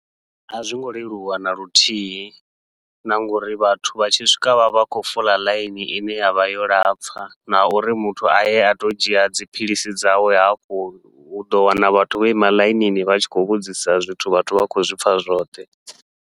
A zwongo leluwa naluthihi na ngauri vhathu vha tshi swika vha vha khou fola ḽaini ine yavha yo lapfha, na uri muthu aye ato dzhia dziphilisi dzawe hafhu uḓo wana vhathu vho ima ḽainini vha tshi khou vhudzisa zwithu vhathu vha khou zwipfha zwoṱhe.